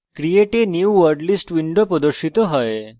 create a new wordlist window প্রদর্শিত হয়